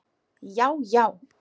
Já já!